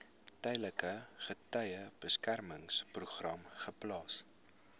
tydelike getuiebeskermingsprogram geplaas